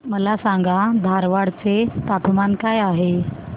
मला सांगा धारवाड चे तापमान काय आहे